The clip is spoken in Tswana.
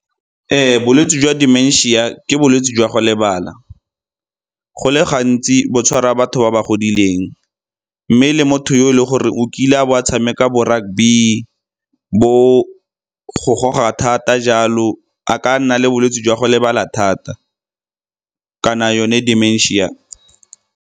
Bolwetse jwa dementia ke bolwetse jwa go lebala. Go le gantsi bo tshwara batho ba ba godileng, mme le motho yo e leng gore o kile a bo a tshameka bo-rugby, bo go goga thata jalo a ka nna le bolwetse jwa go lebala thata kana yone dementia.